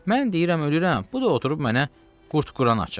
Mən deyirəm ölürəm, bu da oturub mənə qurd quran açır.